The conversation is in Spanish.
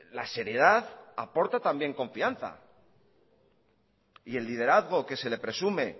la seriedad aporta también confianza y el liderazgo que se le presume